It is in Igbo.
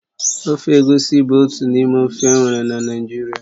Ofe egusi bụ otu n'ime ofe enwere na Naịjirịa